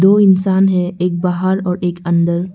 दो इंसान है एक बाहर और एक अंदर।